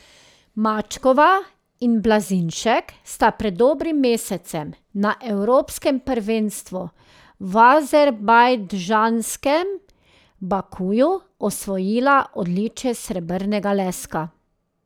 Mačkova in Blazinšek sta pred dobrim mesecem na evropskem prvenstvu v azerbajdžanskem Bakuju osvojila odličje srebrnega leska.